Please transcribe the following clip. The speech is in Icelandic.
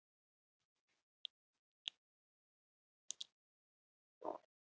Svarthluturinn er þá ekki lengur svartur!